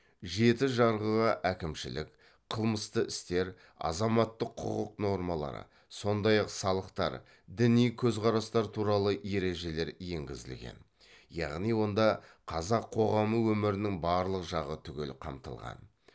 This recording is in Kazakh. жеті жарғыға әкімшілік қылмысты істер азаматтық құқық нормалары сондай ақ салықтар діни көзқарастар туралы ережелер енгізілген яғни онда қазақ қоғамы өмірінің барлық жағы түгел қамтылған